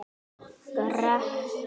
Gerir ekkert.